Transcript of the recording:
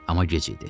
Amma gec idi.